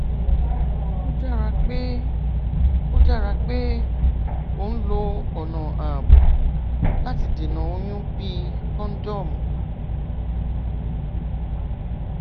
ó dára pé ó dára pé o ń lo ọnà ààbò láti dènà oyún bíi kọńdọọmù